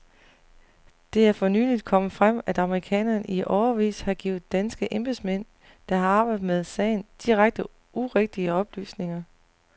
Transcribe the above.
Det er for nyligt kommet frem, at amerikanerne i årevis har givet danske embedsmænd, der har arbejdet med sagen, direkte urigtige oplysninger.